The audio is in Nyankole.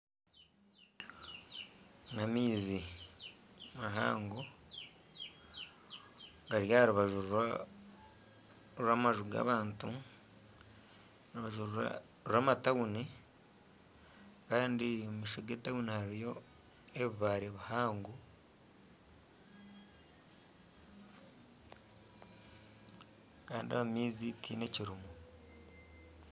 N'amaizi mahango gari aharubaju rw'amaju g'abantu aharubaju rw'amatawuni Kandi omumaisho ge tawuni hariyo ebibare bihango Kandi omu maizi tihaine Kirimu.